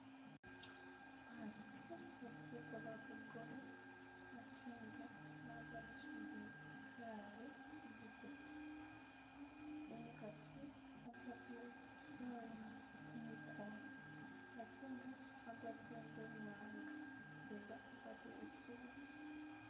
Baatu bali kukola bugoole ate nga bagwatisibwile kale zipeta , umukasi agwatile isaawa kumukono ate nga agwatile ingubo imwanga, umuseza agwatile isuti.